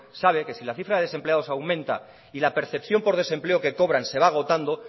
sabe que si la cifra de desempleados aumenta y la percepción por desempleo que cobran se va agotando